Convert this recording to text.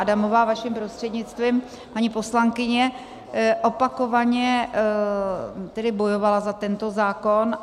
Adamová, vaším prostřednictvím, paní poslankyně opakovaně tedy bojovala za tento zákon.